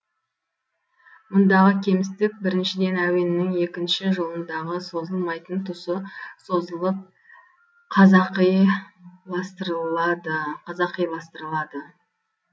мұндағы кемістік біріншіден әуеннің екінші жолындағы созылмайтын тұсы созылып қазақиластырылады